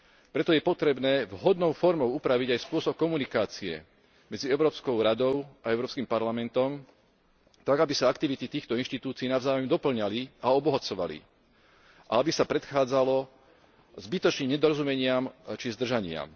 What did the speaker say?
Preto je potrebné vhodnou formou upraviť aj spôsob komunikácie medzi Európskou radou a Európskym parlamentom tak, aby sa aktivity týchto inštitúcií navzájom dopĺňali a obohacovali a aby sa predchádzalo zbytočným nedorozumeniam či zdržaniam.